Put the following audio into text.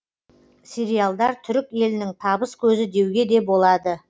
сериалдар түрік елінің табыс көзі деуге де болады